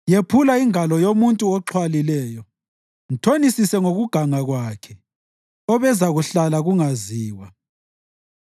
Yephula ingalo yomuntu oxhwalileyo; mthonisise ngokuganga kwakhe obekuzahlala kungaziwa.